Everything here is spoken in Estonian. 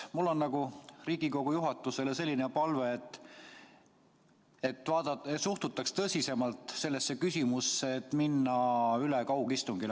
Mul on Riigikogu juhatusele selline palve, et suhtutaks tõsisemalt sellesse küsimusse, et minna üle kaugistungile.